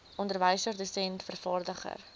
onderwyser dosent vervaardiger